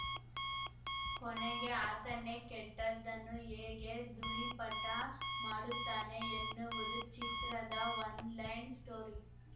ಕೊನೆಗೆ ಆತನೇ ಕೆಟ್ಟದ್ದನ್ನು ಹೇಗೆ ಧೂಳಿಪಟ ಮಾಡುತ್ತಾನೆ ಎನ್ನುವುದು ಚಿತ್ರದ ಒನ್‌ಲೈನ್‌ ಸ್ಟೋರಿ